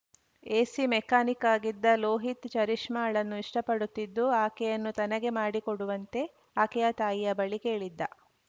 AC mechanic ಆಗಿದ್ದ ಲೋಹಿತ್‌ ಚರಿಷ್ಮಾಳನ್ನು ಇಷ್ಟಪಡುತ್ತಿದ್ದು ಆಕೆಯನ್ನು ತನಗೆ ಮಾಡಿಕೊಡುವಂತೆ ಆಕೆಯ ತಾಯಿಯ ಬಳಿ ಕೇಳಿದ್ದ